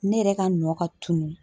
Ne yɛrɛ ka nɔ ka tunun